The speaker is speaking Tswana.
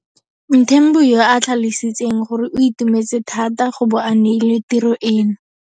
Mthembu yo a tlhalositseng gore o itumetse thata go bo a neilwe tiro eno.